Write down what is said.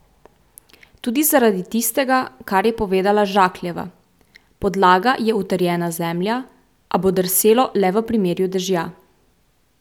Tudi zaradi tistega, kar je povedala Žakljeva: "Podlaga je utrjena zemlja, a bo drselo le v primeru dežja.